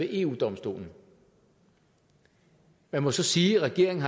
eu domstolen man må så sige at regeringen